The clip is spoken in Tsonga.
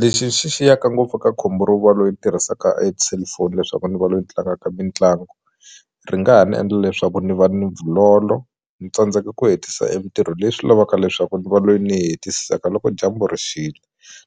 Lexi ni xi xiyaka ngopfu ka khombo ro va loyi tirhisaka e tiselufoni leswaku ni va loyi ni tlangaka mitlangu ri nga ha ni endla leswaku ni va ni vulolo ni tsandzeka ku hetisa e mintirho leswi lavaka leswaku ni va loyi ni yi hetisaka loko dyambu ri xile